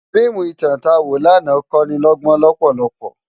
Fiimú itán tá wó làná kónilógbón lòpòlòpò